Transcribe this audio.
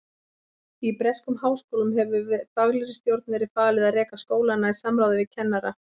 Í breskum háskólum hefur faglegri stjórn verið falið að reka skólana í samráði við kennara.